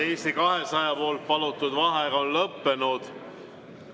Eesti 200 palutud vaheaeg on lõppenud.